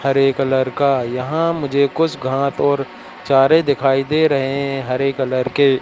हरे colour का। यहां मुझे कुछ घास और चारे दिखाई दे रहे हैं हरे कलर के--